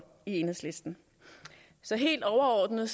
i enhedslisten så helt overordnet